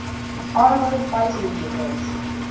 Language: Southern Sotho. armoured fighting vehicles